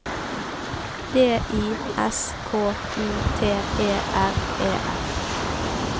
D I S K U T E R E R